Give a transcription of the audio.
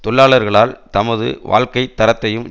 தொழிலாளர்களால் தமது வாழ்க்கை தரத்தையும்